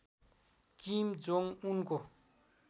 किम Jong उनको